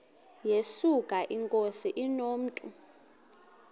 yesuka inkosi inomntu